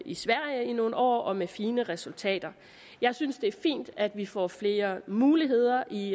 i sverige i nogle år og med fine resultater jeg synes det er fint at vi får flere muligheder i